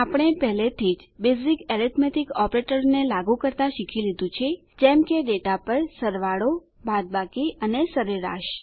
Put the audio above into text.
આપણે પહેલાથી જ બેઝીક એરીથમેટીક ઓપરેટરોને લાગુ કરતા શીખી લીધું છે જેમ કે ડેટા પર એડીશન સરવાળો સબટ્રેકશન બાદબાકી અને એવરેજ સરેરાશ